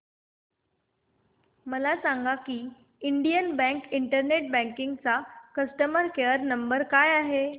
मला सांगा की इंडियन बँक इंटरनेट बँकिंग चा कस्टमर केयर नंबर काय आहे